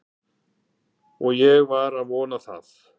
Og ég sem var að vona það